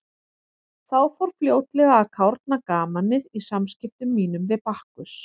Þá fór fljótlega að kárna gamanið í samskiptum mínum við Bakkus.